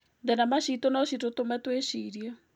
Thenema ciitũ no citũtũme twĩcirie.